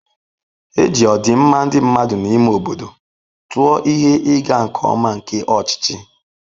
E ji ọdịmma ndị mmadụ n'ime obodo tụọ ihe ịga nke ọma nke ọchịchị.